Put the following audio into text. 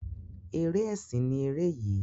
Eré ẹsìn ni ere yii.